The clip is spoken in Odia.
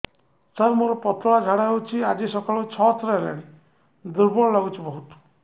ସାର ମୋର ପତଳା ଝାଡା ହେଉଛି ଆଜି ସକାଳୁ ଛଅ ଥର ହେଲାଣି ଦୁର୍ବଳ ଲାଗୁଚି ବହୁତ